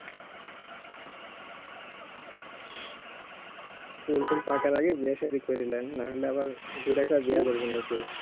চুল টুল পাকার আগে বিয়ে সাধি কইরা লেন না হলে আবার বুড়া কে বিয়ে করবেনা কেউ